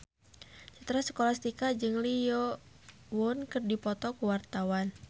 Citra Scholastika jeung Lee Yo Won keur dipoto ku wartawan